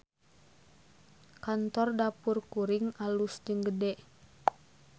Kantor Dapur Kuring alus jeung gede